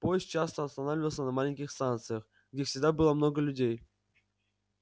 поезд часто останавливался на маленьких станциях где всегда было много людей